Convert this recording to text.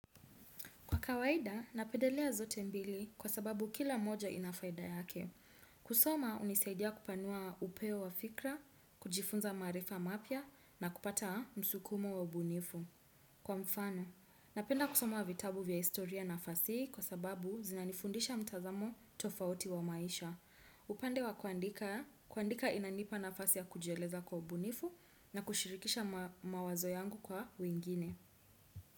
Kwa kawaida, napedelea zote mbili kwa sababu kila moja inafayda yake. Kusoma, unisaidia kupanua upeo wa fikra, kujifunza maarifa mapya na pia na kupata msukumo wa ubunifu. Kwa mfano, napenda kusoma vitabu vya historia na fasihu kwa sababu zinanifundisha mtazamo tofauti wa maisha. Upande wa kuandika, kuandika inanipa nafasi ya kujeleza kwa ubunifu na kushirikisha mawazo yangu kwa wengine.